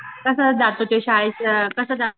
कसं जातो शाळेत कसा जातो?